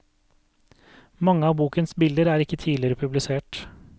Mange av bokens bilder er ikke tidligere publisert.